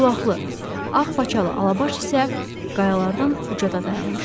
Ağqulaqlı, ağ paçalı Alabaş isə qayalardan ucada dayanmışdı.